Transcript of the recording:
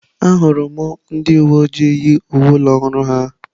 Ahụrụ m ndị uwe ojii yi uwe ụlọ ọrụ ha.